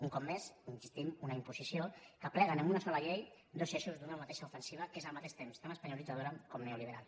un cop més hi insistim una imposició que aplega en una sola llei dos eixos d’una mateixa ofensiva que és al mateix temps tan espanyolitzadora com neoliberal